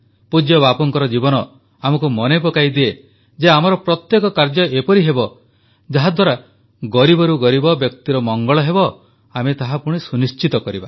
ପୂଜ୍ୟ ବାପୁଙ୍କର ଜୀବନ ଆମକୁ ମନେ ପକାଇଦିଏ ଯେ ଆମର ପ୍ରତ୍ୟେକ କାର୍ଯ୍ୟ ଏପରି ହେବ ଯାହାଦ୍ୱାରା ଗରିବରୁ ଗରିବ ବ୍ୟକ୍ତିର ମଙ୍ଗଳ ହେବ ଆମେ ତାହା ସୁନିଶ୍ଚିତ କରିବା